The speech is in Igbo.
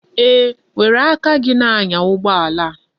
Eeh, were aka gi na-anya ugboala a.